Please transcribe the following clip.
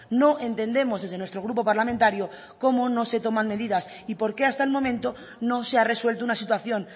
no entendemos desde nuestro grupo parlamentario cómo no se toman medidas y por qué hasta el momento no se ha resuelto una situación